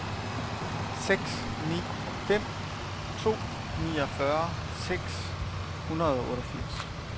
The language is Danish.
seks ni fem to niogfyrre seks hundrede og otteogfirs